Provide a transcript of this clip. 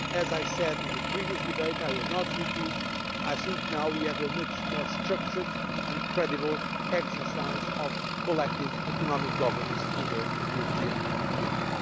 As I said in the previous debate and I will not repeat myself, now we have a much more structured and credible exercise of collective economic governance in the European Union.